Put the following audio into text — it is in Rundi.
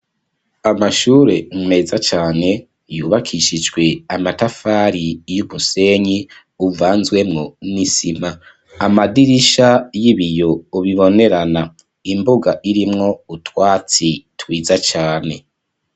Amashure meza cane yubakishijwe amatafari y'umusenyi uvanzwemo n'isima ,amadirisha y'ibiyo ubibonerana ,imbuga irimwo utwatsi twiza cane.